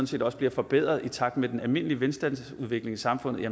set også bliver forbedret i takt med den almindelige velstandsudvikling i samfundet